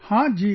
Haan Ji